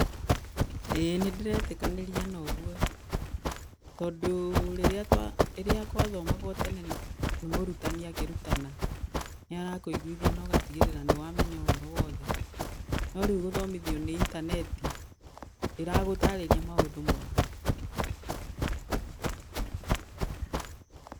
Ĩĩ nĩndĩretĩkanĩria na ũguo, tondũ rĩrĩa rĩrĩa twa rĩrĩa gwathomagũo tene nĩ mũrutani akĩrutana, nĩarakũiguithia na agatigĩrĩra nĩwamenya ũhoro wothe, no rĩu gũthomithio nĩ intaneti ndĩragũtarĩria maũndũ mothe.